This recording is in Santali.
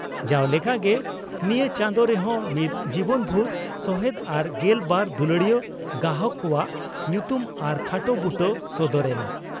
ᱡᱟᱣ ᱞᱮᱠᱟᱜᱮ ᱱᱤᱭᱟᱹ ᱪᱟᱸᱫᱚ ᱨᱮᱦᱚᱸ ᱢᱤᱫ ᱡᱤᱵᱚᱱᱵᱷᱩᱨ ᱥᱚᱦᱮᱫ ᱟᱨ ᱜᱮᱞ ᱵᱟᱨ ᱫᱩᱞᱟᱹᱲᱤᱭᱟᱹ ᱜᱚᱦᱟᱠ ᱠᱚᱣᱟᱜ ᱧᱩᱛᱩᱢ ᱟᱨ ᱠᱷᱟᱴᱚ ᱵᱩᱴᱟᱹ ᱥᱚᱫᱚᱨ ᱮᱱᱟ ᱾